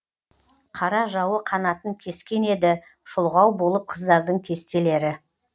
қара жауы қанатын кескен еді шұлғау болып қыздардың кестелері